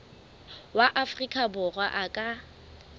wa afrika borwa a ka